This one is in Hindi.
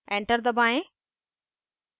enter दबाएं